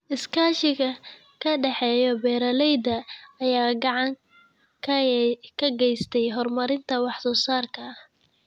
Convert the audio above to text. Iskaashiga ka dhexeeya beeralayda ayaa gacan ka geysta horumarinta wax soo saarka.